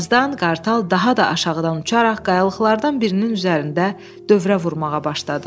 Birazdan qartal daha da aşağıdan uçaraq qayalıqlardan birinin üzərində dövrə vurmağa başladı.